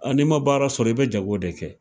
n'i ma baara sɔrɔ i bɛ jago de kɛ.